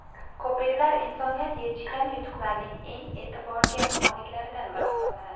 Ko‘priklar insoniyat yetishgan yutuqlarning eng e’tiborga moliklaridan biri hisoblanadi.